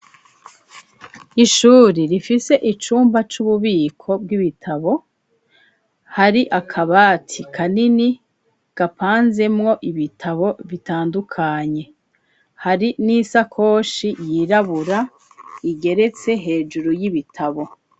ishuri rifise icumba c'ububiko bw'ibitabo , hari akabati kanini gapanze mwo ibitabo bitandukanye , hari n'isakoshi yirabura igeretse hejuru y'ibitabo.